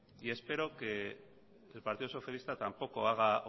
y espero que el partido socialista tampoco haga